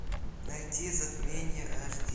найти затмение аш ди